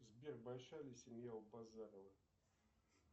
сбер большая ли семья у базарова